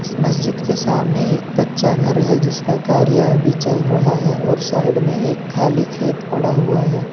इस मस्जिद के सामने एक कच्चा घर है जिसका कार्य अभी चल रहा है और साइड में एक खाली खेत पड़ा हुआ है।